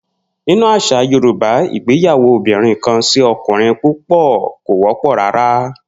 Nínú às̩à Yorùbá, ìgbáyàwó obìnrin-kan-sí-o̩kùnrin-púpò̩ kò wó̩pò̩ rárá